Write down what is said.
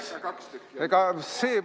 Miks neid kaks tükki on?